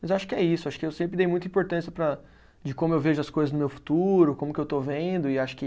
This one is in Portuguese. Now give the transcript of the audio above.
Mas acho que é isso, acho que eu sempre dei muita importância para, de como eu vejo as coisas no meu futuro, como que eu estou vendo, e acho que